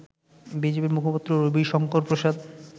বিজেপির মুখপাত্র রবিশংকর প্রসাদ